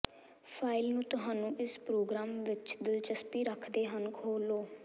file ਨੂੰ ਤੁਹਾਨੂੰ ਇਸ ਪ੍ਰੋਗਰਾਮ ਵਿੱਚ ਦਿਲਚਸਪੀ ਰੱਖਦੇ ਹਨ ਖੋਲ੍ਹੋ